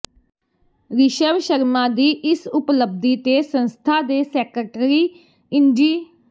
ਰਿਸ਼ਵ ਸ਼ਰਮਾ ਦੀ ਇਸ ਉਪਲਬਧੀ ਤੇ ਸੰਸਥਾ ਦੇ ਸੈਕਟਰੀ ਇੰਜੀ